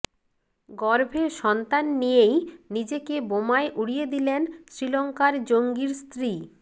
গর্ভে সন্তান নিয়েই নিজেকে বোমায় উড়িয়ে দিলেন শ্রীলঙ্কার জঙ্গির স্ত্রী